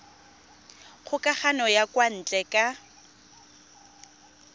kgokagano ya kwa ntle ka